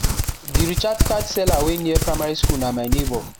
de recharge card seller wey near primary school na my neighbor